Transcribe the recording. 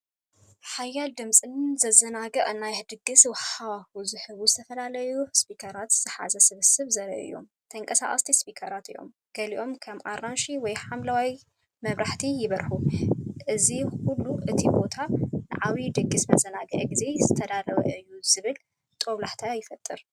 ሓያል ድምጽን ዘዘናግዕ ናይ ድግስ ሃዋህውን ዝህቡ ዝተፈላለዩ ስፒከራት ዝሓዘ ስብስብ ዘርኢ እዩ። ተንቀሳቐስቲ ስፒከራት እዮም፤ ገሊኦም ከም ኣራንሺ ወይ ሐምላይ መብራህቲ ይበርሁ። እዚ ኩሉ እቲ ቦታ ንዓቢይ ድግስን መዘናግዒ ግዜን ዝተዳለወ እዩ ዝብል ጦብላሕታ ይፈጥር!